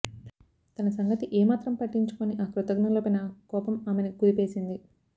తన సంగతి ఏ మాత్రం పట్టించుకోని ఆ కృతఘ్నులపైన కోపం ఆమెని కుదిపేసింది